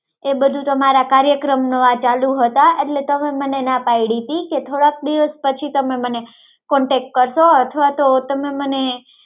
એ બધું તમારા કાર્યક્રમ ને ચાલુ હતા એટલે તમે મને ના પાડી હતી કે થોડાક દિવસ પછી તમે મને contact કરજો અથવા તમે મને